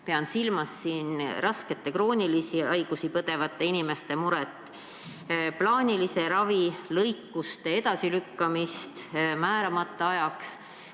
Pean silmas raskeid kroonilisi haigusi põdevate inimeste muret, plaanilise ravi ja lõikuste edasilükkamist määramata ajaks.